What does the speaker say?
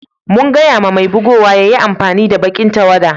Mun gaya ma mai bugowan ya yi amfani da baki'n tawada.